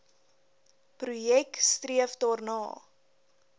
projek streef daarna